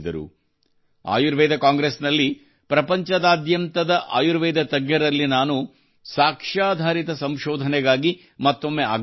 ಆಯುರ್ವೇದ ಕಾಂಗ್ರೆಸ್ನಲ್ಲಿ ಪ್ರಪಂಚದಾದ್ಯಂತದ ಆಯುರ್ವೇದ ತಜ್ಞರಲ್ಲಿ ನಾನು ಸಾಕ್ಷಾಧಾರಿತ ಸಂಶೋಧನೆಗಾಗಿ ಮತ್ತೊಮ್ಮೆ ಆಗ್ರಹಿಸಿದೆ